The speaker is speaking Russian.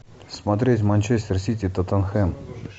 смотреть манчестер сити тоттенхэм